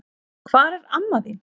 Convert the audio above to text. Hvar er amma þín?